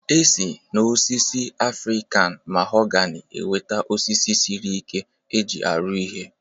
E si n'osisi Afrịkan mahogani enweta osisi sịrị ike e ji arụ ihe